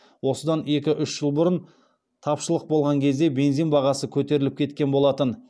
осыдан екі үш жыл бұрын тапшылық болған кезде бензин бағасы көтеріліп кеткен болатын